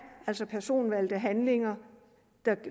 altså personvalgte handlinger